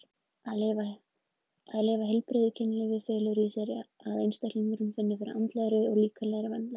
Að lifa heilbrigðu kynlífi felur í sér að einstaklingurinn finnur fyrir andlegri og líkamlegri vellíðan.